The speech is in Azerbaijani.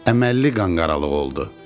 Əməlli qanqaralığı oldu.